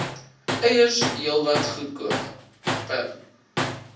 eiers heelwat goedkoper